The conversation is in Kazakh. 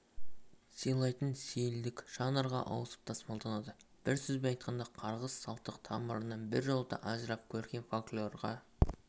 сыйлайтын сейілдік жанрға ауысып тасымалданады бір сөзбен айтқанда қарғыс салттық тамырынан біржолата ажырап көркем фольклорға